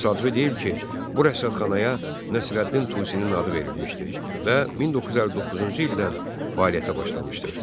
Təsadüfi deyil ki, bu rəsədxanaya Nəsrəddin Tusinin adı verilmişdi və 1959-cu ildən fəaliyyətə başlamışdır.